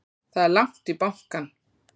Það er langt í bankann!